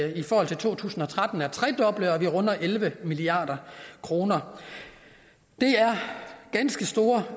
i forhold til to tusind og tretten er tredoblet og at det runder elleve milliard kroner det er ganske store